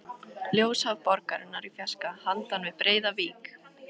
Ljósahaf borgarinnar í fjarska handan við breiða vík.